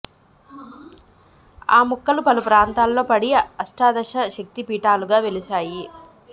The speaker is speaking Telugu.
ఆ ముక్కలు పలు ప్రాంతాల్లో పడి అష్టాదశ శక్తి పీఠాలుగా వెలశాయి